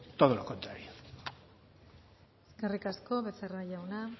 todo lo contrario eskerrik asko becerra jauna